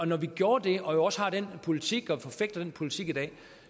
når vi gjorde det og jo også har den politik og forfægter den politik i dag